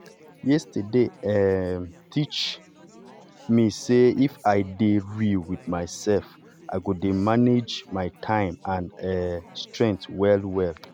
yesterday um teach me sey if i dey real with myself i go dey manage my time and um strength well well